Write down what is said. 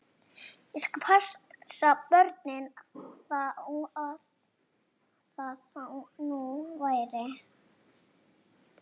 Ég skal passa börnin, þó það nú væri.